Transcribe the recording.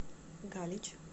галич